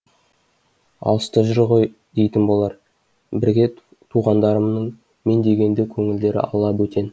алыста жүр ғой дейтін болар бірге туғандарымның мен дегенде көңілдері ала бөтен